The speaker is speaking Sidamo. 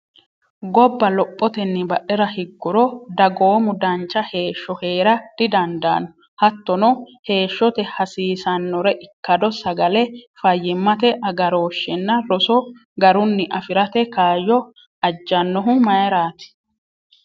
Gobba lophotenni badhera higguro, dagoomu dancha heeshsho hee’ra didandaanno hattono Heeshshote hasiisannore ikkado sagale, fayyimmate agarooshshenna roso garunni afi’rate kaayyo ajjannohu mayirati?